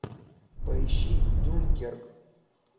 поищи дюнкерк